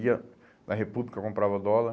Ia na República, comprava dólar.